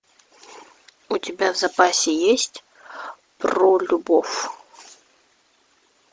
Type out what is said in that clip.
у тебя в запасе есть про любовь